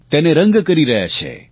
તેને રંગ કરી રહ્યા છે